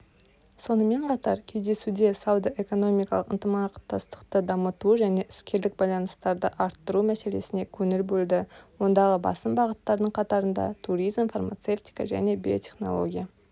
сонымен қатар кездесуде сауда-экономикалық ынтымақтастықты дамыту және іскерлік байланыстарды арттыру мәселесіне көңіл бөлді ондағы басым бағыттардың қатарында туризм фармацевтика және биотехнология